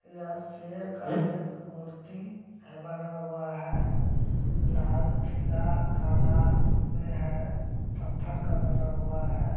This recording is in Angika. यह सेर का एक मूर्ति है बना हुआ है। लाल पीला काला में है। पत्थर का बना हुआ है।